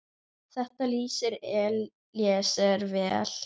Þetta lýsir Elíeser vel.